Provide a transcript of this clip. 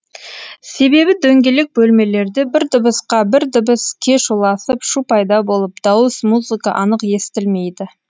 себебі дөңгелек бөлмелерде бір дыбысқа бір дыбыс кеш ұласып шу пайда болып дауыс музыка анық естілмейді